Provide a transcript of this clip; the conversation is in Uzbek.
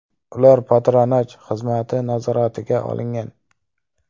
Ular patronaj xizmati nazoratiga olingan.